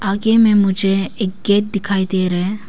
आगे में मुझे एक गेट दिखाई दे रहा है।